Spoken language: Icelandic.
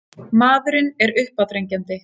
Maðurinn er uppáþrengjandi.